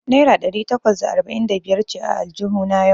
Naira ɗari takwas da arba'in da biyar ce a aljuhuna yau.